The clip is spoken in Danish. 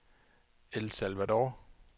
El Salvador